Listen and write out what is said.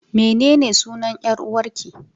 Mene ne sunan 'yar uwarki?